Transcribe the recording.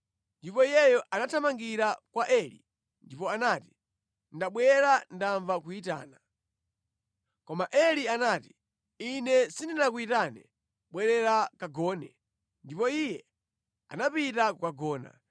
Ndipo iyeyo anathamangira kwa Eli ndipo anati, “Ndabwera ndamva kuyitana.” Koma Eli anati, “Ine sindinakuyitane, bwerera kagone.” Ndipo iye anapita kukagona.